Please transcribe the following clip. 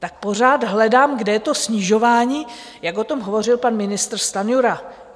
Tak pořád hledám, kde je to snižování, jak o tom hovořil pan ministr Stanjura.